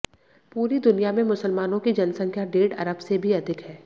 पूरी दुनिया में मुसलमानों की जनसंख्या डेढ़ अरब से भी अधिक है